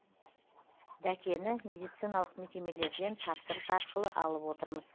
дәкені медициналық мекемелерден тапсырыс арқылы алып отырмыз